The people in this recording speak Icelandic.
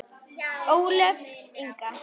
Ólöf Inga.